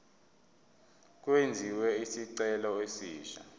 kwenziwe isicelo esisha